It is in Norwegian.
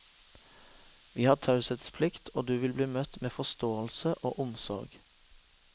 Vi har taushetsplikt og du vil bli møtt med forståelse og omsorg.